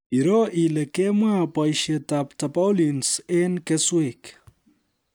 Iroo ile kemwa boisietab Tarpaulins eng kesweek